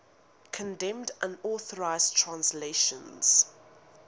condemned unauthorized translations